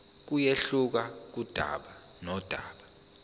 kuyehluka kudaba nodaba